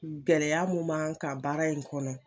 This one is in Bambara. Gɛlɛyaya mun man kan baara in kɔnɔ.